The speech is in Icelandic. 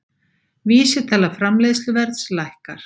Vísitala framleiðsluverðs lækkar